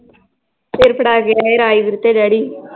ਫਿਰ ਫੜਾ ਕੇ ਆਏ ਰਾਜਵੀਰ ਤੇ ਡੈਡੀ l